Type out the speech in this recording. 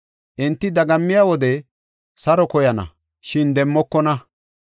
Enti dagammiya wode saro koyana; shin demmokona.